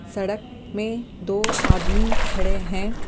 सड़क में दो आदमी खड़े हैं।